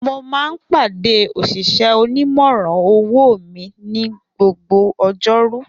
Mo máa ń pàdé òṣìṣẹ́ onímòràn owó mi ni gbogbo ọjọ́rú